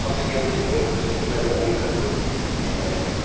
Só se ia no cinema, porque o cinema era o única coisa que existia na época.